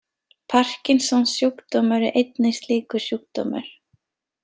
Parkinsons-sjúkdómur er einnig slíkur sjúkdómur.